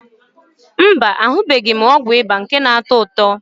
Mba, ahụbeghị m ọgwụ ịba nke na-atọ ụtọ.